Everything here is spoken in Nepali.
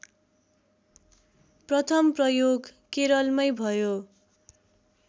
प्रथम प्रयोग केरलमै भयो